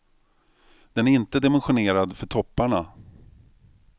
Den är inte dimensionerad för topparna.